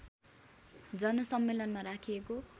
जनसम्मेलनमा राखिएको